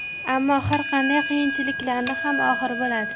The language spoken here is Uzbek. Ammo har qanday qiyinchilikniyam oxiri bo‘ladi.